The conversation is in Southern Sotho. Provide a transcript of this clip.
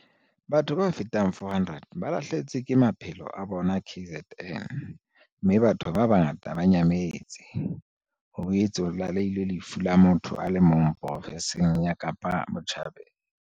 Batho ba fetang 400 ba lahlehetswe ke maphelo a bona KZN, mme batho ba bangata ba nyametse. Ho boetse ho tlalehilwe lefu la motho ya le mong profenseng ya Kapa Botjhabela.